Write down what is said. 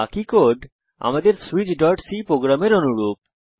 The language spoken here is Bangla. বাকি কোড আমাদের switchসি প্রোগ্রামের অনুরূপ